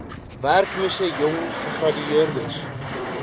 werklose jong gegradueerdes